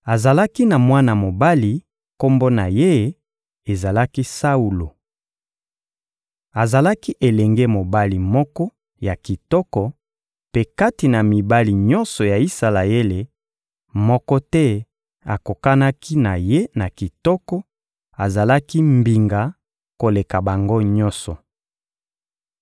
Azalaki na mwana mobali; kombo na ye ezalaki «Saulo.» Azalaki elenge mobali moko ya kitoko; mpe kati na mibali nyonso ya Isalaele, moko te akokanaki na ye na kitoko; azalaki mbinga koleka bango nyonso.